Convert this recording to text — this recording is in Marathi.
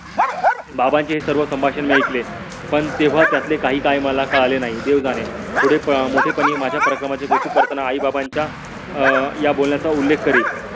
बाबांचे हे सर्व संभाषण मी ऐकले. पण तेव्हा त्यातले काही काय मला कळले नाही. देव जाणे. पुढे मोठे पणी माझ्या पराक्रमाचे कौतुक करतांना आई बाबांच्या अं या बोलण्याचा उल्लेख करील.